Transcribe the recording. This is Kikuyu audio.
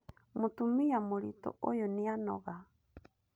Mũtumia mũritũ ũyũ nĩanoga